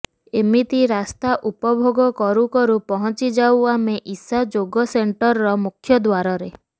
ଏମିତି ରାସ୍ତା ଉପଭୋଗ କରୁକରୁ ପହଁଚିଯାଉ ଆମେ ଇଶା ଯୋଗ ସେଣ୍ଟରର ମୁଖ୍ୟଦ୍ୱାରରେ